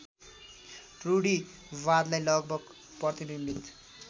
रूढीवादलाई लगभग प्रतिबिम्बित